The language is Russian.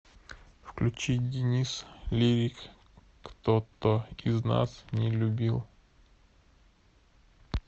включи денис лирик кто то из нас не любил